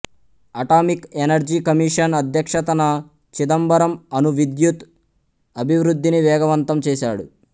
atomic Energy Commission అధ్యక్షతన చిదంబరం అణు విద్యుత్ అభివృద్ధిని వేగవంతం చేశాడు